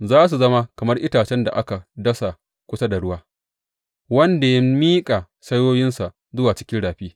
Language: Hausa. Za su zama kamar itacen da aka dasa kusa da ruwa wanda ya miƙa saiwoyinsa zuwa cikin rafi.